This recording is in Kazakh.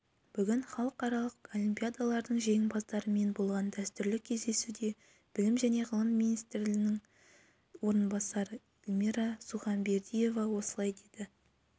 бүгін халықаралық олимпиадалардың жеңімпаздарымен болған дәстүрлі кездесуде білім және ғылым министрінің орынбасары эльмира сұханбердиева осылай деді